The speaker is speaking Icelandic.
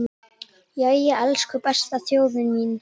Jæja, elsku besta þjóðin mín!